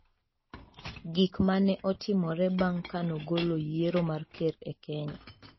Gik ma ne Otimore Bang ' Ka Nogolo Yiero mar Ker e Kenya